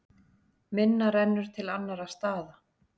Minna rennur til annarra staða.